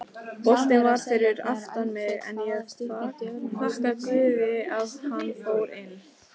Boltinn var fyrir aftan mig en ég þakka guði að hann fór inn.